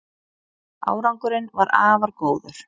Árangurinn var afar góður